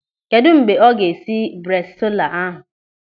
Kedụ mgbe ọ ga-esi bresaola ahụ?